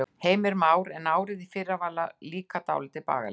Heimir Már: En árið í fyrra, það var líka dálítið bagalegt?